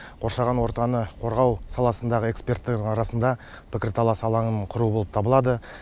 қоршаған ортаны қорғау саласындағы эксперттердің арасында пікірталас алаңын құру болып табылады